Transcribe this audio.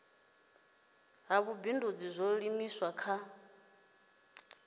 ha vhubindudzi zwo livhiswa kha